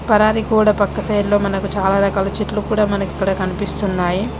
పరారీ గోడ పక్క సైడ్ లో మనకు చాలా రకాల చెట్లు కూడా మనకి ఇక్కడ కనిపిస్తున్నాయి.